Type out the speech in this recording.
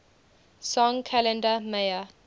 song kalenda maya